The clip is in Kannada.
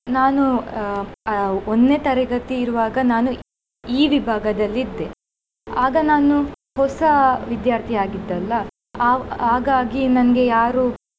ನಾನು ಅಹ್ ಅಹ್ ಒಂದ್ನೇ ತರಗತಿಯಿರುವಾಗ ನಾನು E ವಿಭಾಗದಲ್ಲಿ ಇದ್ದೇ ಆಗ ನಾನು ಹೊಸ ವಿದ್ಯಾರ್ಥಿ ಆಗಿದ್ದೇ ಅಲ್ಲಾ ಅವ್~ ಹಾಗಾಗಿ ನಂಗೆ ಯಾರು